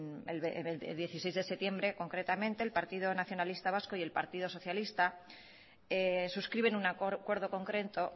el veintiséis de septiembre concretamente el partido nacionalista vasco y el partido socialista suscriben un acuerdo concreto